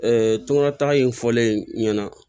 tɔŋɔnɔn taga in fɔlen ɲɛna